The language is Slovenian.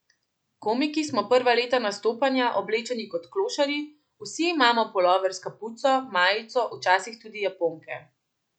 Komiki smo prva leta nastopanja oblečeni kot klošarji, vsi imamo pulover s kapuco, majico, včasih tudi japonke.